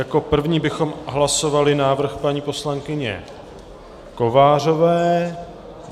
Jako první bychom hlasovali návrh paní poslankyně Kovářové.